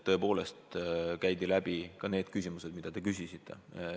Tõepoolest käidi läbi ka need teemad, mille kohta te küsisite.